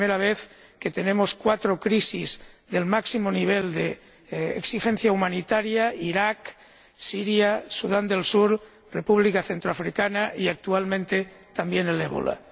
Es la primera vez que tenemos cuatro crisis del máximo nivel de exigencia humanitaria Irak, Siria, Sudán del Sur, República Centroafricana y, actualmente, también el ébola.